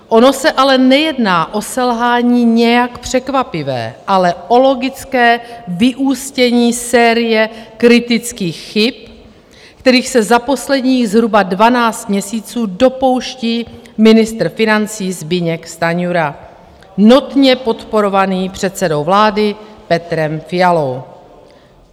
Ono se ale nejedná o selhání nějak překvapivé, ale o logické vyústění série kritických chyb, kterých se za posledních zhruba 12 měsíců dopouští ministr financí Zbyněk Stanjura, notně podporovaný předsedou vlády Petrem Fialou.